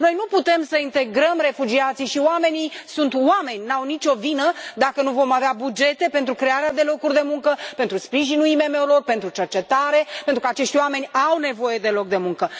Noi nu putem să integrăm refugiații și oamenii sunt oameni, nu au nici o vină dacă nu vom avea bugete pentru crearea de locuri de muncă, pentru sprijinul IMM urilor, pentru cercetare, pentru că acești oameni au nevoie de loc de muncă.